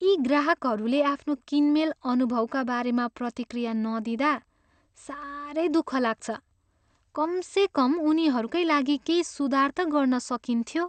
यी ग्राहकहरूले आफ्नो किनमेल अनुभवका बारेमा प्रतिक्रिया नदिँदा साह्रै दुःख लाग्छ। कमसेकम उनीहरूकै लागि केही सुधार त गर्न सकिन्थ्यो!